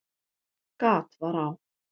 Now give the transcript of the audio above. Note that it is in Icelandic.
Gat var á